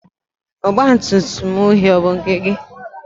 ọgbatumtum uhie ọ bụ nke gị?